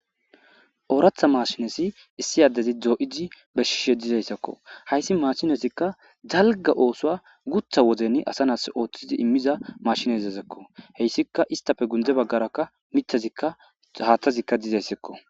ooratha mashinezi issi addezi dzoo7idi beshishe dizayssakko hayssi maashinesikka dalga oosoa gutha woden asa nas ooththizi immiza mashinezezekko heyssika istafe gunde baggarakka mithazika haaththazikka dizayssekko